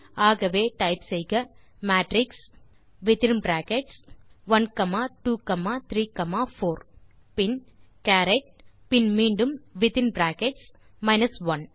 ஆகவே டைப் செய்க மேட்ரிக்ஸ் பின் வித்தின் பிராக்கெட்ஸ் 1234 பின் சரத் பின் மீண்டும் இன் பிராக்கெட்ஸ் மைனஸ் 1